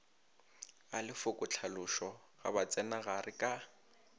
ga lefokotlhalošo la bitsenagare ka